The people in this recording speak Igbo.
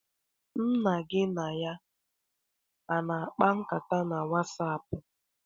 Nna gị na ya a na-akpa nkata na Wasapụ?